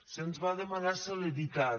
se’ns va demanar celeritat